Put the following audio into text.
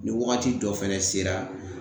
Ni wagati dɔ fɛnɛ sera